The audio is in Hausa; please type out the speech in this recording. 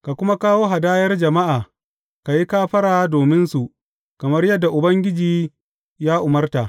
Ka kuma kawo hadayar jama’a, ka yi kafara dominsu kamar yadda Ubangiji ya umarta.